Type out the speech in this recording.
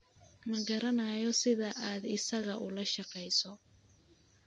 Ma garanayo sida aad isaga ula shaqeyso